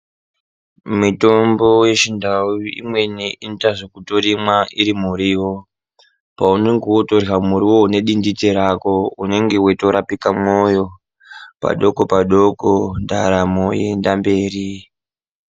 Mitombo yechindau imweni inotoyita zvekutorimwa iri muriwo, paunenge wotorya muriwowo nedindite rako unenge weyitorapika mumwoyo, padoko padoko ndaramo yoenda mberi.